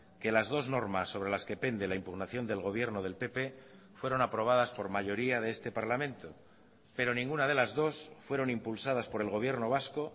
que las dos normas sobre las que pende la impugnación del gobierno del pp fueron aprobadas por mayoría de este parlamento pero ninguna de las dos fueron impulsadas por el gobierno vasco